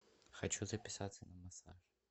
хочу записаться на массаж